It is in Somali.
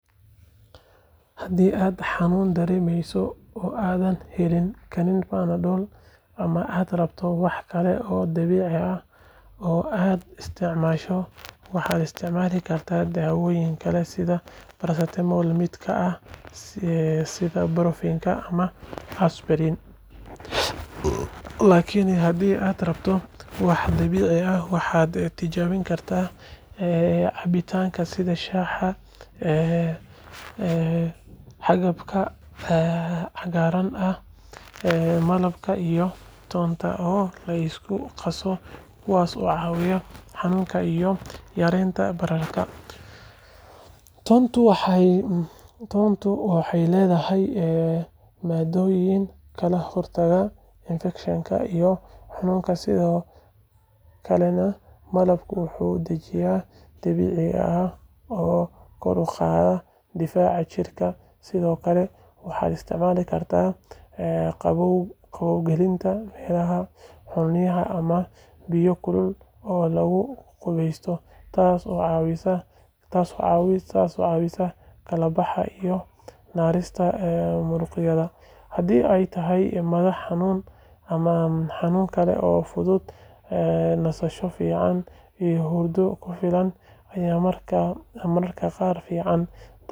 Haddii aad xanuun dareemayso oo aadan heli karin Panadol ama aad rabto wax kale oo dabiici ah oo aad isticmaasho, waxaad isticmaali kartaa daawooyin kale sida paracetamol la mid ah sida ibuprofen ama aspirin laakiin haddii aad rabto wax dabiici ah, waxaad tijaabin kartaa cabitaanada sida shaaha xabagta cagaarka ah, malabka iyo toonta oo la isku qaso kuwaas oo caawiya xanuunka iyo yareynta bararka. Toontu waxay leedahay maaddooyin ka hortaga infekshanka iyo xanuunka sidoo kalena malabku waa dejin dabiici ah oo kor u qaada difaaca jirka sidoo kale waxaad isticmaalikartaa qabowgelinta meelaha xanuunaya ama biyo kulul oo lagu qubeysto taas oo caawisa kala baxa iyo nasinta muruqyada. Haddii ay tahay madax xanuun ama xanuun kale oo fudud, nasasho fiican iyo hurdo ku filan ayaa mararka qaar ka fiican dawooyinka la cabbo.